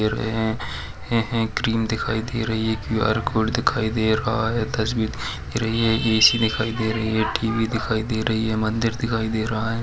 Cream दिखाई दे रही है क्यू_आर कोड दिखाई दे रहा है तस्वीर दिखाई दे रही है ऐ_सी दिखाई दे रही है टी_वी दिखाई दे रही है मन्दिर दिखाई दे रहा है।